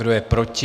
Kdo je proti?